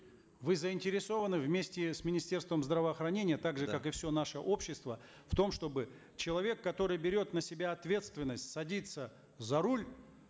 вы заинтересованы вместе с министерством здравоохранения так же как и все наше общество в том чтобы человек который берет на себя ответственность садится за руль